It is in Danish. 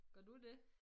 Gør du det?